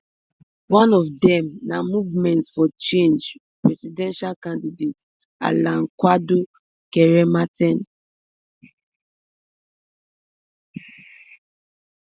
one of dem na movement for change presidential candidate alan kwadwo kyerema ten